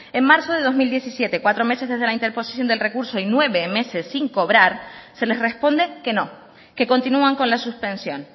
en marzo de dos mil diecisiete cuatro meses desde la interposición del recurso y nueve meses sin cobrar se les responde que no que continúan con la suspensión